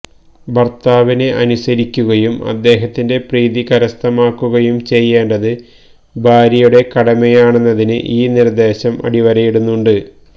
ഭര്ത്താവിനെ അനുസരിക്കുകയും അദ്ദേഹത്തിന്റെ പ്രീതി കരസ്ഥമാക്കുകയും ചെയ്യേണ്ടത് ഭാര്യയുടെ കടമയാണെന്നതിന് ഈ നിര്ദേശം അടിവരയിടുന്നുണ്ട്